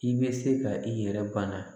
I bɛ se ka i yɛrɛ bana